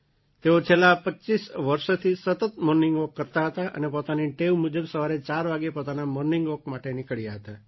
તેઓ છેલ્લાં પચ્ચીસ વર્ષથી સતત મૉર્નિંગ વૉક કરતા હતા અને પોતાની ટેવ મુજબ સવારે ચાર વાગે પોતાના મૉર્નિંગ વૉક માટે નીકળ્યાં હતાં